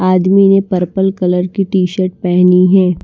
आदमी ने purple colour की टी-शर्ट पहनी है।